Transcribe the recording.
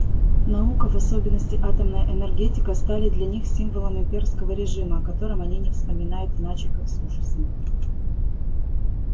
наука и в особенности атомная энергетика стали для них символом имперского режима о котором они не вспоминают иначе как с ужасом